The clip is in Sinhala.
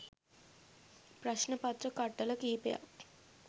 ප්‍රශ්න පත්‍ර කට්ටල කිහිපයක්